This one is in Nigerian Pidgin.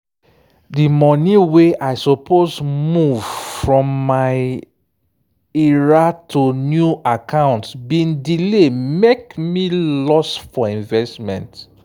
di money wey i suppose move from my ira to new account bin delay mek me lose for investment.